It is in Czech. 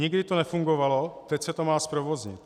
Nikdy to nefungovalo, teď se to má zprovoznit.